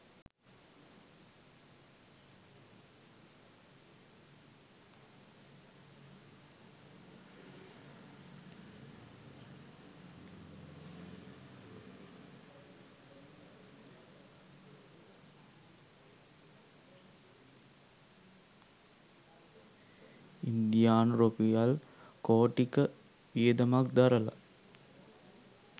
ඉන්දියානු රුපියල් කෝටි ක වියදමක් දරලා